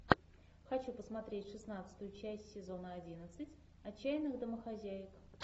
хочу посмотреть шестнадцатую часть сезона одиннадцать отчаянных домохозяек